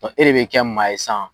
Ɔn e de be kɛ maa ye san